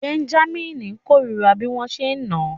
Bẹ́ńjámínì kórìíra bí wọ́n ṣe ń nà án